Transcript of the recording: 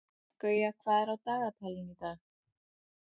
Gauja, hvað er á dagatalinu í dag?